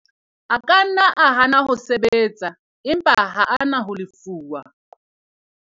a ka nna a hana ho sebetsa, empa ha a na ho lefuwa